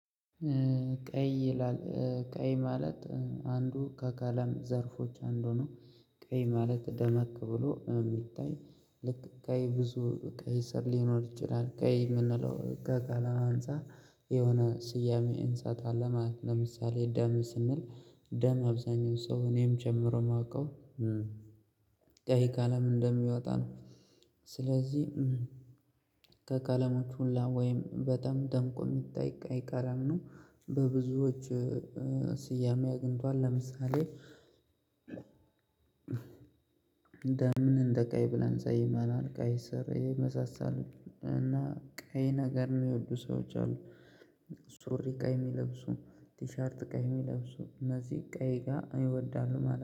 ቀይ ይላል 'ቀይ' ማለት አንዱ ከቀለም ዘርፎች አንዱ ነው። ቀይ ማለት ደመቅ ብሎ የሚታይ ልክ ቀይ ብዙ ቀይ ስር ሊኖር ይችላል። ቀይ የምንለው ከቀለም አንፃር የሆነ ስያሜ እንሰጣለን ማለት ነው። ለምሳሌ ደም ስንል ደም አብዛኛው ሰው እኔንም ጨምሮ የማውቀው ቀይ ቀለም እንደሚወጣ ነው። ስለዚህ ከቀለሞቹ ሁላ ወይም በጣም ደምቆ የሚታይ ቀይ ቀለም ነው። በብዙዎች ስያሜ አግኝቷል። ለምሳሌ እንደምን እንደ ቀይ ብለን ሰይመናል ቀይ ስር የመሳሰሉት። እና ቀይ ነገር የሚወዱ ሰዎች አሉ። ሱሪ ቀይ የሚለብሱ፣ ቲሸርት ቀይ የሚለብሱ እነዚህ ቀይ ጋር እኔ እወዳለሁ ማለት ነው።